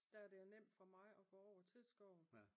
Der er det jo nemt for mig at gå over til skoven